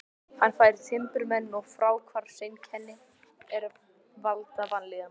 Hann fær timburmenn og fráhvarfseinkenni er valda vanlíðan.